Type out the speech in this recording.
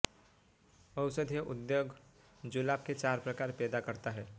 औषधीय उद्योग जुलाब के चार प्रकार पैदा करता है